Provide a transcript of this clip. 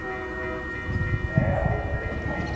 হ্যাঁ ওষুধ এনে খাব।